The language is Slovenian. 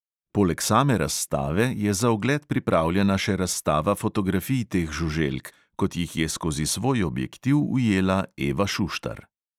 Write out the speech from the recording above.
Poleg same razstave je za ogled pripravljena še razstava fotografij teh žuželk, kot jih je skozi svoj objektiv ujela eva šuštar.